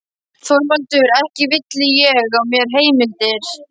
ÞORVALDUR: Ekki villi ég á mér heimildir.